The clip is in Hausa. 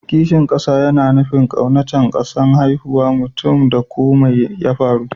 Kishin kasa na nufin ƙaunacen kasan haihuwan mutum ko mai ya faru.